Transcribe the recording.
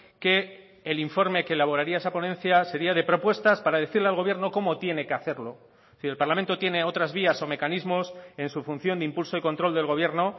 que el informe que elaboraría esa ponencia sería de propuestas para decirle al gobierno cómo tiene que hacerlo y el parlamento tiene otras vías o mecanismos en su función de impulso y control del gobierno